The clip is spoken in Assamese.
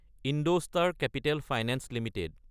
ইণ্ডষ্টাৰ কেপিটেল ফাইনেন্স এলটিডি